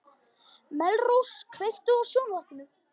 Melrós, kveiktu á sjónvarpinu.